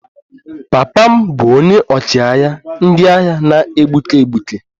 Papa m bụ onye ọchịagha ndị agha na-egbuke egbuke